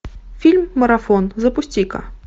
фильм марафон запусти ка